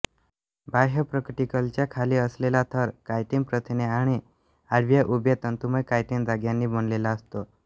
बाह्य प्रोक्युटिकलच्या खाली असलेला थर कायटिन प्रथिने आणि आडव्या उभ्या तंतुमय कायटिन धाग्यानी बनलेला असतो